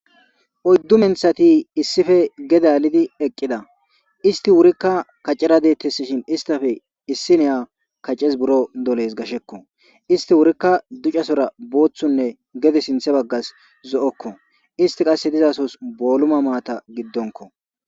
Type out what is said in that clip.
Oyddu menthati issippe gede alidi eqida issiti wurika kacera detesishin issitappe issiniya kacesi buro dolesi gasheko. Isti wurika ducasora boothunne gede sinthe bagasi zo'oko, isti qase dizasosi booluma maata gidonko.